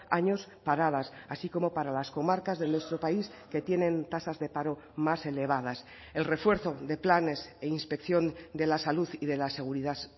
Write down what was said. años paradas así como para las comarcas de nuestro país que tienen tasas de paro más elevadas el refuerzo de planes e inspección de la salud y de la seguridad